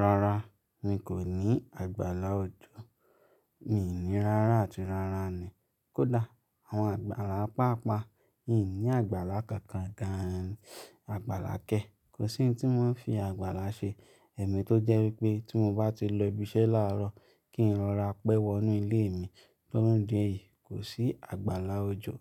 Rárá mi kò ní àgbàlá òjò, mi ní rárá àti rárá ni. Kódà àwon àgbàlá paapaa, ìní àgbàlá kankan gan-an, àgbàlá kẹ́, kò sí ohun tí wọn n fi àgbàlá ṣe. Ẹ̀mí tó jẹ́ wípé tí mo bá ti lo ibi isẹ́ láàárọ̀ kí n rọra pẹ́ wọ inú ilé mi, fun idi èyí, kò sí àgbàlá òjò